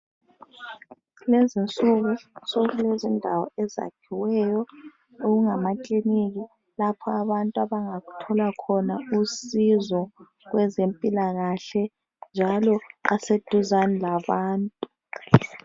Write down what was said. Kulezinsuku sokulezindawo ezakhiweyo okungamakliniki lapha abantu abangathola khona usizo kwezempilakahle njalo aseduzane labantu.